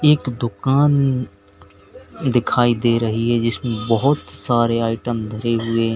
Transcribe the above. एक दुकान दिखाई दे रही है जिसमें बहोत सारे आइटम धरे हुए हैं।